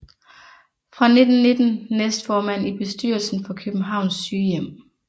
Fra 1919 næstformand i bestyrelsen for Københavns Sygehjem